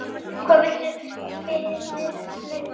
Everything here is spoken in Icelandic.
Hvað viltu faðir minn?